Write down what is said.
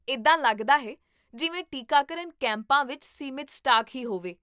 ਇੱਦਾਂ ਲੱਗਦਾ ਹੈ ਜਿਵੇਂ ਟੀਕਾਕਰਨ ਕੈਂਪਾਂ ਵਿੱਚ ਸੀਮਤ ਸਟਾਕ ਹੀ ਹੋਵੇ